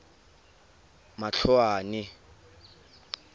matloane